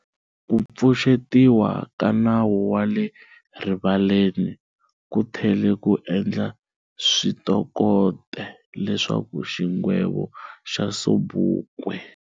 Kupfuxetiwa ka Nawu wa le rivaleni, kuthele ku endla swikoteka leswaku xigwevo xa Sobukwe